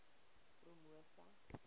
promosa